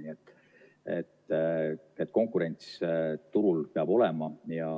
Nii et konkurents turul peab olema ja